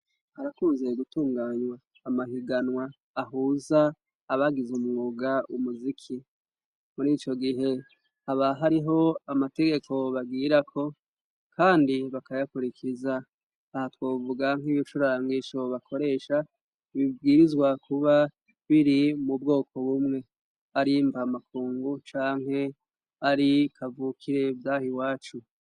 Arakunzee gutunganywa amahiganwa ahuza abagize umwuga umuziki muri ico gihe aba hariho amategeko bagirako, kandi bakayakurikiriza aha twovugank'ibicurangisho bakoresha bibwirizwa kuba biri mu bwoko bume mwe arimva amakungu canke ari kavukire vyaha i wacu.